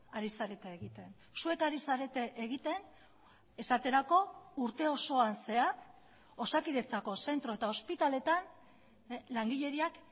ari zarete egiten zuek ari zarete egiten esaterako urte osoan zehar osakidetzako zentro eta ospitaletan langileriak